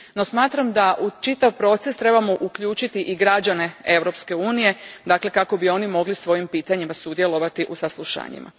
No, smatram da u čitav proces trebamo uključiti i građane Europske unije kako bi oni mogli svojim pitanjima sudjelovati u saslušanjima.